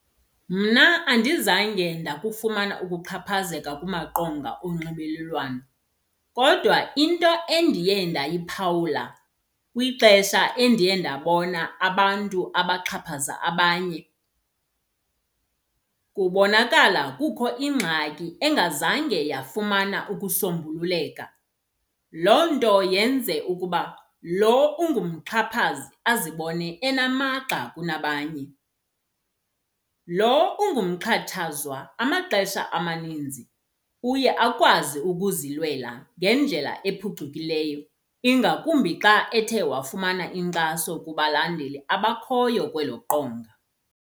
Mna andizange ndakufumana ukuxhaphazeka kumaqonga onxibelelwano. Kodwa into endiye ndayiphawula kwixesha endiye ndabona abantu abaxhaphaza abanye kubonakala kukho ingxaki engazange yafumana ukusombululeka, loo nto yenze ukuba loo ungumxhaphazi azibone enamagxa kunabanye. Loo ungumxhatshazwa amaxesha amaninzi uye akwazi ukuzilwela ngendlela ephucukileyo ingakumbi xa ethe wafumana inkxaso kubalandeli abakhoyo kwelo qonga.